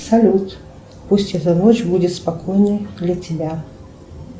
салют пусть эта ночь будет спокойной для тебя